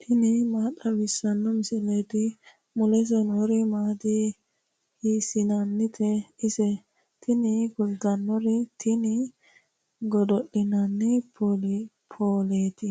tini maa xawissanno misileeti ? mulese noori maati ? hiissinannite ise ? tini kultannori tini godo'linanni pooleeti